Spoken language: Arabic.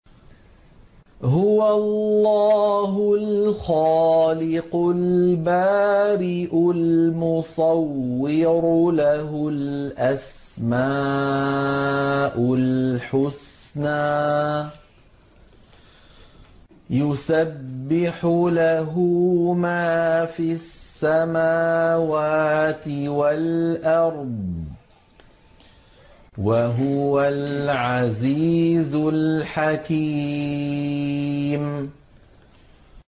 هُوَ اللَّهُ الْخَالِقُ الْبَارِئُ الْمُصَوِّرُ ۖ لَهُ الْأَسْمَاءُ الْحُسْنَىٰ ۚ يُسَبِّحُ لَهُ مَا فِي السَّمَاوَاتِ وَالْأَرْضِ ۖ وَهُوَ الْعَزِيزُ الْحَكِيمُ